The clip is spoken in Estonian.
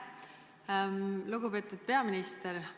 Lugupeetud peaminister!